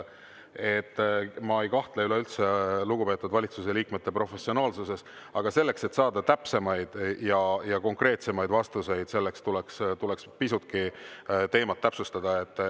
Ma ei kahtle üleüldse lugupeetud valitsuse liikmete professionaalsuses, aga selleks, et saada täpsemaid ja konkreetsemaid vastuseid, tuleks pisutki teemat täpsustada.